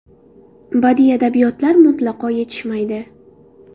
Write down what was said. Badiiy adabiyotlar mutlaqo yetishmaydi.